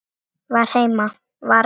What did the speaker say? Vera heima.